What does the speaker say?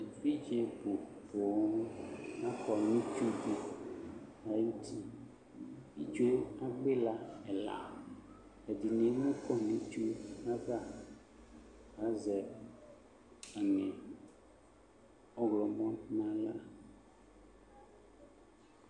Evidze bʋ poo akɔ nʋ itsu dɩ ayʋ uti, itsu yɛ agbɔ ɩla ɛla, ɛdɩnɩ emu kɔ nʋ itsu yɛ ava, azɛ aŋɛ ɔɣlɔmɔ nʋ aɣla